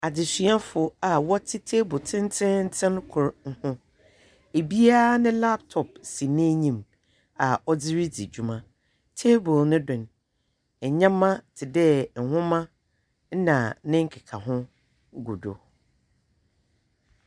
Mmea mmaayewa baanu a wɔte hɔ; ɔbaako te akonnwa so na ɔfoforo te fam. Na nea ɔte akongua so no kita afe a ɔde apae nea ɔte hɔ no ti ho a ɔrebɔ ne ti ama no.